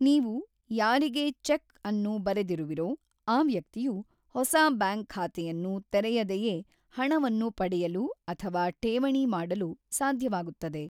ನೀವು ಯಾರಿಗೆ ಚೆಕ್ ಅನ್ನು ಬರೆದಿರುವಿರೊ ಆ ವ್ಯಕ್ತಿಯು ಹೊಸ ಬ್ಯಾಂಕ್ ಖಾತೆಯನ್ನು ತೆರೆಯದೆಯೇ ಹಣವನ್ನು ಪಡೆಯಲು ಅಥವಾ ಠೇವಣಿ ಮಾಡಲು ಸಾಧ್ಯವಾಗುತ್ತದೆ.